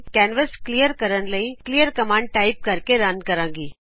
canvas clean ਕਰਨ ਲਈ clear command type ਕਰਕੇ ਰਨ ਕਰਾਗੀ